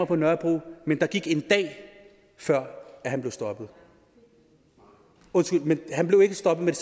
på nørrebro men der gik en dag før han blev stoppet undskyld men han blev ikke stoppet